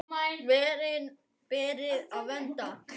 Verin beri að vernda.